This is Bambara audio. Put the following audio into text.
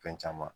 Fɛn caman